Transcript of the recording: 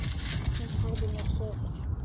Hún sagði mér sögur.